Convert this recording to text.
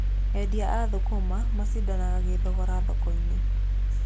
Endia a thũkũma macindanaga gĩthogora thoko-inĩ.